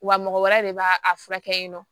Wa mɔgɔ wɛrɛ de b'a a furakɛ yen nɔ